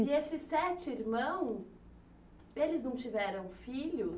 E esses sete irmãos, eles não tiveram filhos?